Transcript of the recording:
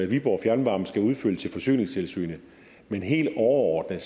viborg fjernvarme skal udfylde til forsyningstilsynet men helt overordnet